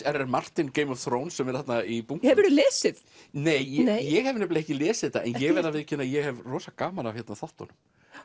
r Martin Game of Thrones sem er þarna í bunkum hefurðu lesið nei ég hef ekki lesið þetta en ég verð að viðurkenna að ég hef rosa gaman af þáttunum